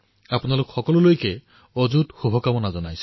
আপোনালোক সকলোলৈ মোৰ শুভ কামনা থাকিল